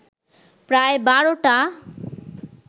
প্রায় বারোটা